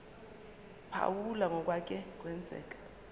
phawula ngokwake kwenzeka